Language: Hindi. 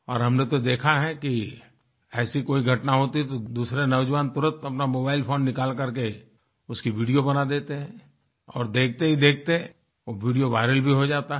और हमने तो देखा हैकि ऐसी कोई घटना होती है तो दूसरे नौजवान तुरंत अपना मोबाइल फोन निकाल करके उसकी वीडियो बना देते हैं और देखतेहीदेखते वो वीडियोviral भी हो जाता है